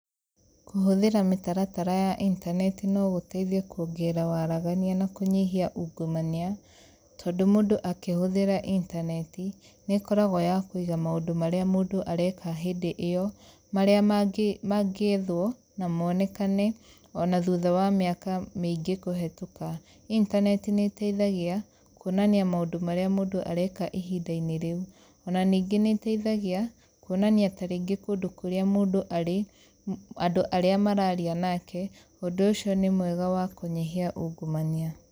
Kũhũthĩra mĩtaratara ya intaneti no gũteithie kuongerera waragania na kũnyihia ungumania, tondũ mũndũ akĩhũthĩra intaneti nĩ ĩkoragwo ya kuiga maũndũ marĩa mũndũ areka hĩndi ĩyo marĩa mangĩ mangĩethwo na monekane ona thutha wa mĩaka mĩingĩ kũhĩtũka. Intaneti nĩ ĩteithagia, kuonania maũndu maria mũndũ areka ihinda-inĩ rĩu, ona ningĩ nĩĩteithagia kuonania tarĩngĩ kũndũ kũrĩa mũndũ arĩ, andũ arĩa mararia nake ũndũ ũcio nĩ mwega wa kũnyihia ungumania.